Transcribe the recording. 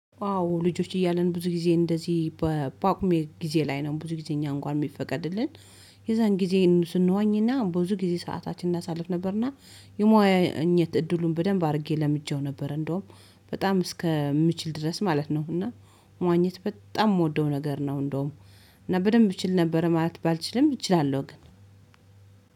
አዎ ልጆች እያለን ብዙ ጊዜ እንደዚህ በጳጉሜ ጊዜ ላይ ነው ብዙ ጊዜ እኛን እንኳን ሚፈቀድልን የዛን ጊዜ ስንዋኝና ብዙ ጊዜ ሰዓታችን እናሳልፍ ነበርና። የመዋኝት እድሉን በደንብ አርጌ ለምጄው ነበር እንደውም በጣም እስከምችል ድረስ ማለት ነው። እና መዋኘት በጣም ምወደው ነገር ነው። እንደውም እና በደንብ እችል ነበር ማለት ባልችልም እችላለሁ ግን።